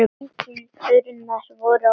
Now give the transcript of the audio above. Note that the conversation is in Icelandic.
Engir turnar voru á henni.